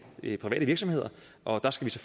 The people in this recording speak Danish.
private virksomheder og der skal